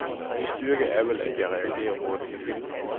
Min styrke er vel, at jeg reagerer hurtigt.